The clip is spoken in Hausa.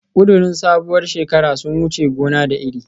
Kudirin sabuwar shekara sun wuce gona da iri